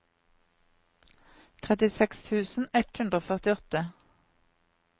trettiseks tusen ett hundre og førtiåtte